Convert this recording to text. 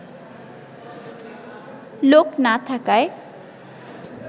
লোক না থাকায়